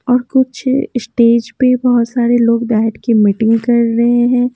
और कुछ स्टेज पे बहुत सारे लोग बैठ के मीटिंग कर रहे हैं।